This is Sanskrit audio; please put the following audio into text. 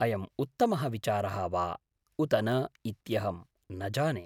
अयम् उत्तमः विचारः वा उत न इत्यहं न जाने।